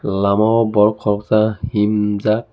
lama o borok koroksa heemjaak.